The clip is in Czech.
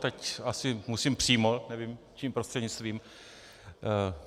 Teď asi musím přímo, nevím čím prostřednictvím.